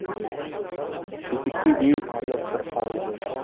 бекетке дейін әлі бірқауым жер